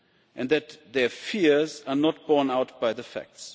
and that their fears are not borne out by the facts.